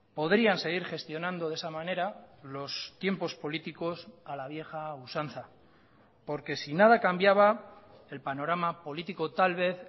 podrían seguir gestionando de esa manera los tiempos políticos a la vieja usanza porque si nada cambiaba el panorama político tal vez